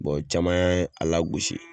Bɔn caman ye a lagosi